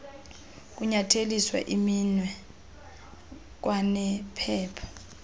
kunyatheliswa iminwe kwanephepha